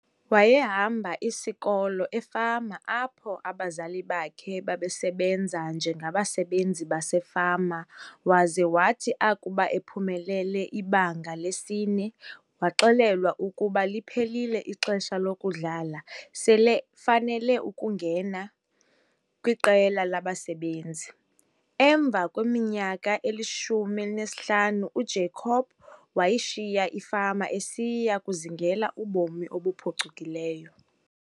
Wayehamba isikolo efama apho abazali bakhe babesebenza njengabasebenzi basefama waze wathi akuba ephumelele iBanga lesi-4 waxelelwa ukuba liphelile ixesha lokudlala selefanele ukungena kwiqela lomsebenzi. Emva kweminyaka eyi-15 uJacob wayishiya ifama esiya kuzingela ubomi obuphucukileyo.